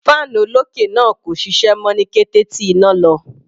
Fan olókè náà kò ṣiṣẹ́ mọ́ ní kété tí iná lọ.